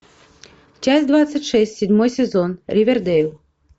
часть двадцать шесть седьмой сезон ривердейл